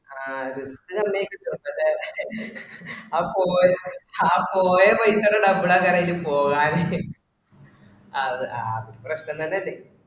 ആ സമയക്കുന്ന ലെ ആ പോയവയിക്ക് തന്നെ double ആകാന് ആയിനും പോവാന് അത് അത് പ്രശ്‌നം തന്നെ അല്ലെ